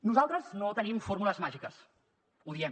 nosaltres no tenim fórmules màgiques ho diem